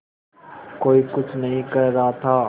कोई कुछ नहीं कह रहा था